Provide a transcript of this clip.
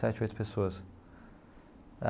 Sete ou oito pessoas.